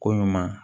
Ko ɲuman